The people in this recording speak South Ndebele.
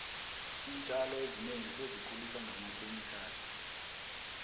iintjalo ezinengi sezikhuliswa ngamakhemikhali